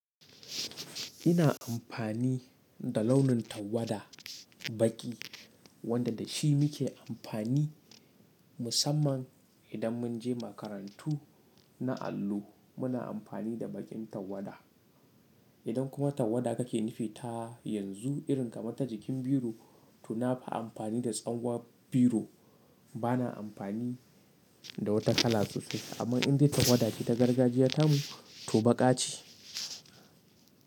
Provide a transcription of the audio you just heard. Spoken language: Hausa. Ina amfani da launin tawada baƙi wanda da shi muke amfani musamman idan mun je makarantu na allo muna amfani da baƙin tawada. Idan kuma tawada kake nufi ta yanzu irin kamar ta jikin biro, to nafi amfani da tsangwan biro. Bana amfani da wata kala sosai. Amma indai tawada ce ta gargajiya ta mu, to baƙa ce.